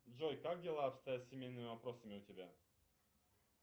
джой как дела обстоят с семейными вопросами у тебя